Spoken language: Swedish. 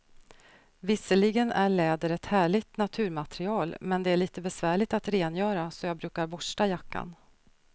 Visserligen är läder ett härligt naturmaterial, men det är lite besvärligt att rengöra, så jag brukar borsta jackan.